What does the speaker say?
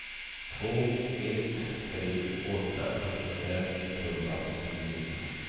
två ett tre åtta sjuttiofem etthundraåttionio